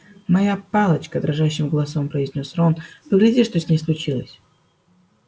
моя палочка дрожащим голосом произнёс рон погляди что с ней случилось